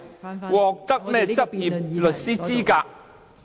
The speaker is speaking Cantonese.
變成獲得執業律師資格。